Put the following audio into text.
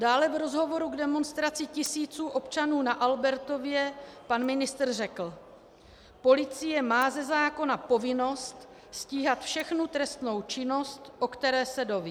Dále v rozhovoru k demonstraci tisíců občanů na Albertově pan ministr řekl: Policie má ze zákona povinnost stíhat všechnu trestnou činnost, o které se dozví.